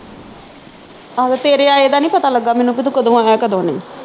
ਆਹੋ ਤੇਰੇ ਆਏ ਦਾ ਨੀ ਪਤਾ ਲੱਗਾ ਮੈਨੂੰ ਕਿ ਤੂੰ ਕਦੋਂ ਆਇਆ ਕਦੋਂ ਨਹੀਂ